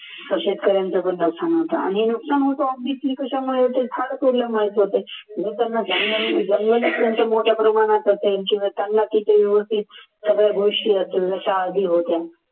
आणि नुकसान होतो obviously कशामुळे होते झाड तोडल्यावर माहित होते जंगल मोठ्या प्रमाणात त्यांची होत्या